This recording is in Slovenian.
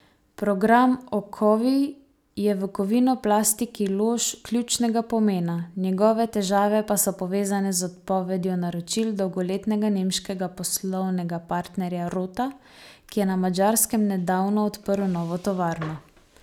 Program okovij je v Kovinoplastiki Lož ključnega pomena, njegove težave pa so povezane z odpovedjo naročil dolgoletnega nemškega poslovnega partnerja Rota, ki je na Madžarskem nedavno oprl novo tovarno.